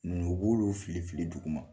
Nk'u b'olu filifili duguma.